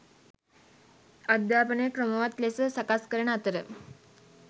අධ්‍යාපනය ක්‍රමවත් ලෙස සකස් කරන අතර